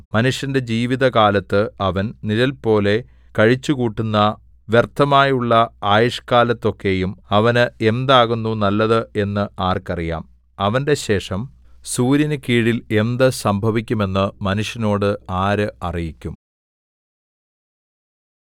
മനുഷ്യന്റെ ജീവിതകാലത്ത് അവൻ നിഴൽപോലെ കഴിച്ചുകൂട്ടുന്ന വ്യർത്ഥമായുള്ള ആയുഷ്കാലത്തൊക്കെയും അവന് എന്താകുന്നു നല്ലത് എന്ന് ആർക്കറിയാം അവന്റെ ശേഷം സൂര്യനുകീഴിൽ എന്ത് സംഭവിക്കും എന്ന് മനുഷ്യനോട് ആര് അറിയിക്കും